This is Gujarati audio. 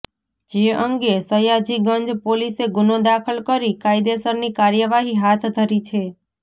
જે અંગે સયાજીગંજ પોલીસે ગુનો દાખલ કરી કાયદેસરની કાર્યવાહી હાથ ધરી છે